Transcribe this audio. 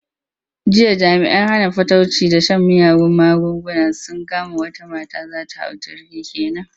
Jiya jami'an hana fatauci da shan miyagun magunguna sun kama wata mata za ta hau jirgi ke nan.